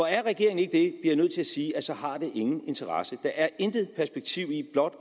er regeringen ikke det jeg nødt til at sige at så har det ingen interesse der er intet perspektiv i blot